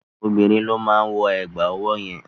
Obìnrin ló máa wọ ẹ̀gbà ọwọ́ yẹn.